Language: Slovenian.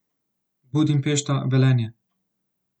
Budimpešta, Velenje.